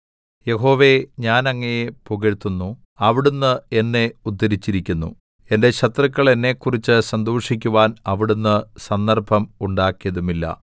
യഹോവേ ഞാൻ അങ്ങയെ പുകഴ്ത്തുന്നു അവിടുന്ന് എന്നെ ഉദ്ധരിച്ചിരിക്കുന്നു എന്റെ ശത്രുക്കൾ എന്നെക്കുറിച്ച് സന്തോഷിക്കുവാൻ അവിടുന്ന് സന്ദർഭം ഉണ്ടാക്കിയതുമില്ല